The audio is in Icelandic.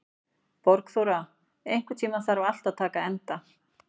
Borgþóra, einhvern tímann þarf allt að taka enda.